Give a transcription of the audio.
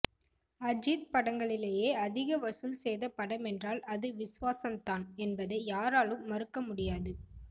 அஜித் படங்களிலேயே அதிக வசூல் செய்த படமென்றால் அது விஸ்வாசம் தான் என்பதை யாராலும் மறுக்க முடியாது